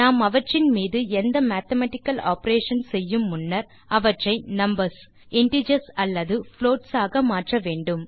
நாம் அவற்றின் மீது எந்த மேத்தமேட்டிக்கல் ஆப்பரேஷன் செய்யும் முன்னர் அவற்றை நம்பர்ஸ் இன்டிஜர்ஸ் அல்லது புளோட்ஸ் ஆக மாற்ற வேண்டும்